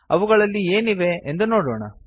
ಅವುಗಳಲ್ಲಿ ಏನಿವೆ ಎಂದು ನೋಡೋಣ